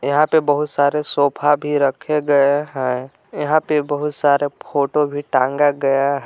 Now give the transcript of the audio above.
यहां पे बहुत सारे सोफा भी रखे गए हैं यहां पे बहुत सारे फोटो भी टांगे गए हैं।